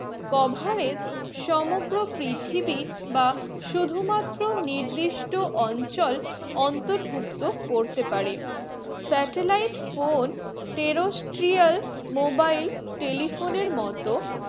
cover এর সমস্ত পৃথ্বি বা শুধু মাত্র নির্দিষ্ট অঞ্চল অন্তর্ভুক্ত করতে পারে satellite phone terrestrial mobile telephone এর মতো